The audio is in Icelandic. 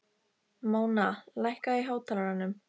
Móna, lækkaðu í hátalaranum.